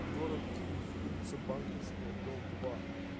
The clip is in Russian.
город киев улица банковская дом два